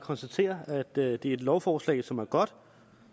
konstaterer at det er et lovforslag som er godt og